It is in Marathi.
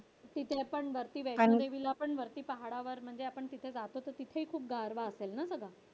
तिथेही पण वस्ती घ्यायची तिथे वर पहाडावर आपण जातो तर तिथेही खूप गारावा असेल ना सगळा